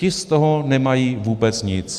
Ti z toho nemají vůbec nic.